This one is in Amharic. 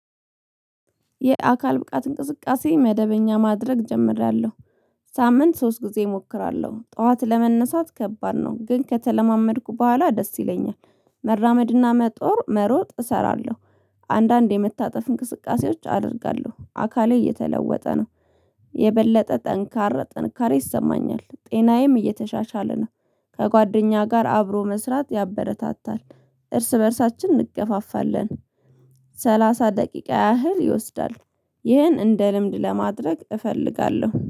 የአካል ብቃት እንቅስቃሴ መደበኛ ማድረግ ጀምሬያለሁ። ሳምንት ሶስት ጊዜ እሞክራለሁ ጠዋት ለመነሳት ከባድ ነው ግን ከተለማመድኩ በኋላ ደስ ይለኛል። መራመድና መጦር መሮጥ እሰራለሁ። አንዳንድ የመታጠፍ እንቅስቃሴዎች አደርጋለሁ አካሌ እየተለወጠ ነው። የበለጠ ጠንካራ ጥንካሬ ይሰማኛል ጤናዬም እየተሻሻለ ነው። ከጓደኛ ጋር አብሮ መስራት ያበረታታል። እርስ በእርሳችን እንገፋፋለን። ሰላሳ ደቂቃ ያህል ይወስዳል። ይህን እንደ ልምድ ለማድረግ እፈልጋለሁ